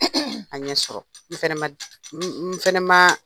a ɲɛ sɔrɔ . N fɛnɛ ma, n fɛnɛ ma